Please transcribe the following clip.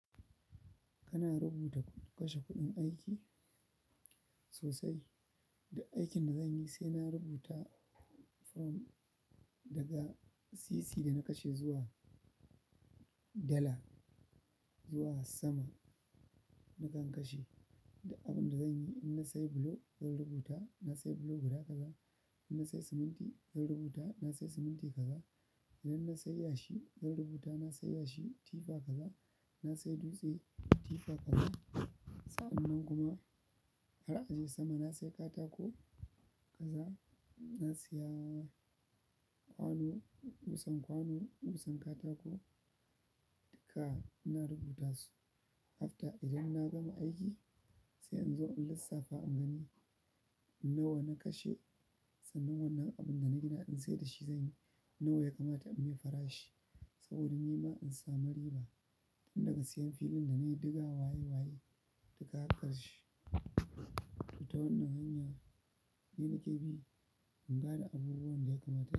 Kana rubuta kashe kuɗin aiki sosai. Duk aikin da zanyi sai na rubuta form daga sisi da na kashe zuwa dala zuwa sama nakan kashe. Duk abin da zanyi idan na sayi bulo zan rubuta na sayi bulo guda kaza. Idan na sayi siminti zan rubuta na sayi siminti kaza. Idan na sayi yashi zan rubuta na sayi yashi tifa kaza, na sayi dutse tifa kaza. Sa'annan kuma har a je sama na sayi katako kaza, na saya kwano, ƙusan kwano, ƙusan katako duka ina rubuta su. After idan na gama aiki, sai inzo in lissafa in gani nawa na kashe, sannan wannan abun da nagina ɗin saidashi zanyi, nawa ya kamata in mai farashi saboda nima in samu riba. Tun daga siyan filin da na yi, diga waye-waye, duka haƙƙar shi. To ta wannan hanyar ni nake bi in gane abubuwan da ya kamata.